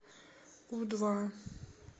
у два